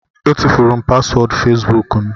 Etufuru m paswọọdụ fesbuk m